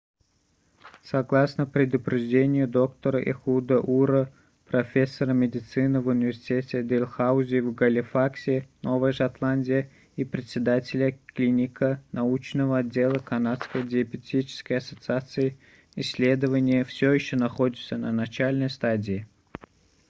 согласно предупреждению доктора эхуда ура ehud ur профессора медицины в университете дэлхаузи в галифаксе новая шотландия и председателя клинико-научного отдела канадской диабетической ассоциации исследования все еще находятся на начальной стадии